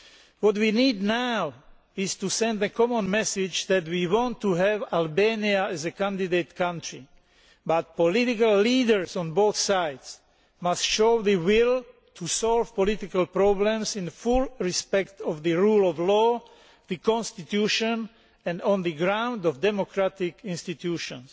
What we need now is to send a common message that we want to have Albania as a candidate country, but political leaders on both sides must show the will to solve political problems in full respect for the rule of law, the constitution and on the foundation of democratic institutions.